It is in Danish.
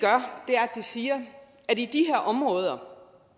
siger i de her områder